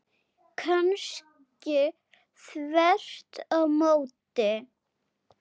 Kannski þvert á móti.